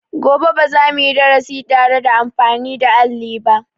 Gobe ba za mu yi darasi da tare da amafin da alli ba.